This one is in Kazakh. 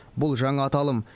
бұл жаңа аталым